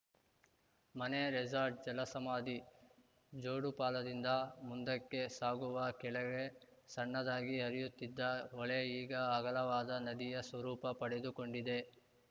ಮನೆ ರೆಸಾರ್ಟ್‌ ಜಲಸಮಾಧಿ ಜೋಡುಪಾಲದಿಂದ ಮುಂದಕ್ಕೆ ಸಾಗುವಾಗ ಕೆಳಗೆ ಸಣ್ಣದಾಗಿ ಹರಿಯುತ್ತಿದ್ದ ಹೊಳೆ ಈಗ ಅಗಲವಾದ ನದಿಯ ಸ್ವರೂಪ ಪಡೆದುಕೊಂಡಿದೆ